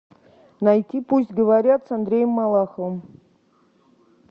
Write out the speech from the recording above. найти пусть говорят с андреем малаховым